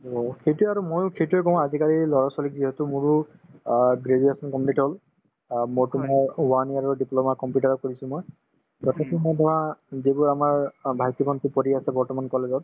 অ, সেইটোয়ে আৰু ময়ো সেইটোয়ে কওঁ আজিকালিৰ লৰা-ছোৱালীক যিহেতু মোৰো অ graduation complete হল অ মোৰতো মানে one year ৰৰ diploma computer ত কৰিছো মই তাতে তোমাৰ ধৰা যিবোৰ আমাৰ অ ভাইটি-ভণ্টি পঢ়ি আছে বৰ্তমান college ত